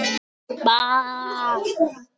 Elsku Ægir minn.